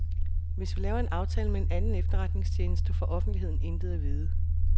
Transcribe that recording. Hvis vi laver en aftale med en anden efterretningstjeneste, får offentligheden intet at vide.